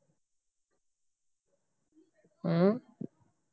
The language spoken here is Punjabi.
ਹਮ